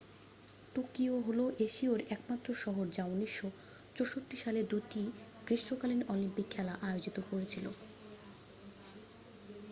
Tokyo হল এশীয়ার একমাত্র শহর যা 1964 সালে দুটি গ্রীষ্মকালীন অলিম্পিক খেলা আয়োজিত করেছিল